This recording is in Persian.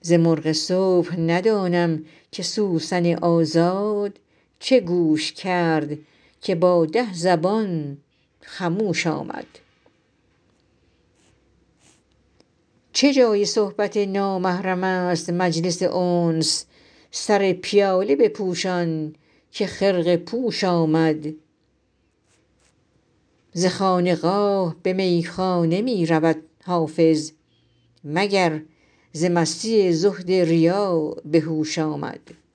ز مرغ صبح ندانم که سوسن آزاد چه گوش کرد که با ده زبان خموش آمد چه جای صحبت نامحرم است مجلس انس سر پیاله بپوشان که خرقه پوش آمد ز خانقاه به میخانه می رود حافظ مگر ز مستی زهد ریا به هوش آمد